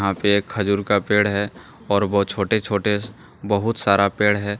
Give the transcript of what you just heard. एक खजूर का पेड़ है और वह छोटे-छोटे बहुत सारा पेड़ है।